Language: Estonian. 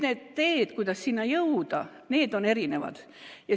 Need teed, kuidas sinna jõuda, on erinevad.